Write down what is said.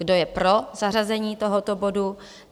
Kdo je pro zařazení tohoto bodu?